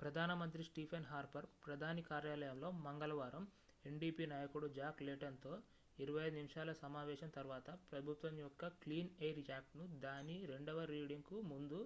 ప్రధానమంత్రి Stephen Harper ప్రధాని కార్యాలయంలో మంగళవారం ndp నాయకుడు జాక్ లేటన్ తో 25 నిమిషాల సమావేశం తర్వాత ప్రభుత్వం యొక్క క్లీన్ ఎయిర్ యాక్ట్'ను దాని రెండవ రీడింగ్ కు ముందు